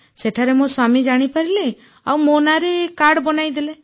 ସେଠାରେ ମୋ ସ୍ୱାମୀ ଜାଣିପାରିଲେ ଆଉ ମୋ ନାଁରେ କାର୍ଡ ବନାଇଦେଲେ